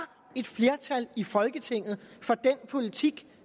et flertal i folketinget for den politik